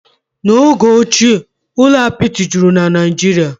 N'oge ochie, ụlọ apịtị juru na Naịjirịa